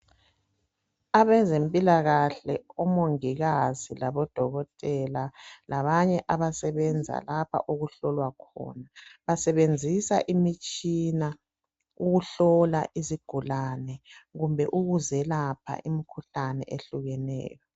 abezempilakahle omongikazi labodokotela labanye abasebenza lapha okuhlolwa khona basebenzisa imitshina ukuhlola izigulane kumbe ukuzelapha imikhuhlane ehlukeneyo